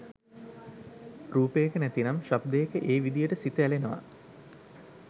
රූපයක නැතිනම් ශබ්දයක ඒ විධියට සිත ඇලෙනවා.